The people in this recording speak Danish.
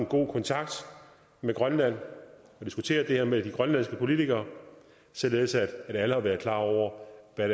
god kontakt med grønland og har diskuteret det her med de grønlandske politikere således at alle har været klar over hvad